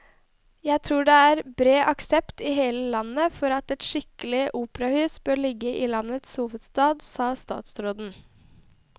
Jeg tror det er bred aksept i hele landet for at et skikkelig operahus bør ligge i landets hovedstad, sa statsråden.